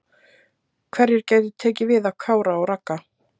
Hverjir gætu tekið við af Kára og Ragga?